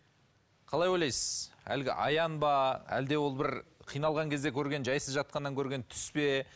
қалай ойлайсыз әлгі аян ба әлде ол бір қиналған кезде көрген жайсыз жатқаннан көрген түс пе